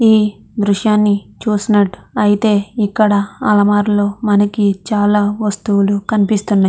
ఈ దృశ్యాన్ని చూసినట్టయితే ఇక్కడ అల్మార్ లో మనకి చాలా వస్తువులు కనిపిస్తున్నాయి.